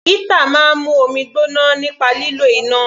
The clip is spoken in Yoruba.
Heater máa ń mú omi gbóná nípa lílo iná.